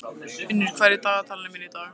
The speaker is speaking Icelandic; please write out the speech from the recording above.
Unnur, hvað er í dagatalinu mínu í dag?